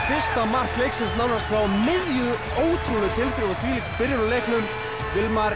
fyrsta mark leiksins nánast frá miðju ótrúleg tilþrif og þvílík byrjun á leiknum